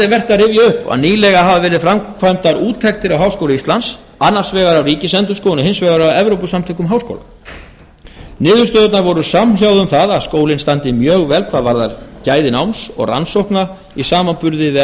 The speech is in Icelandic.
vert að rifja upp að nýlega hafa verið framkvæmdar úttektir á háskóla íslands annars vegar af ríkisendurskoðun og hins vegar af evrópusamtökum háskóla niðurstöðurnar voru samhljóða um það að skólinn standi mjög vel hvað varðar gæði náms og rannsókna í samanburði við